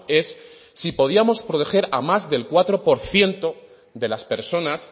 es si podíamos proteger a más del cuatro por ciento de las personas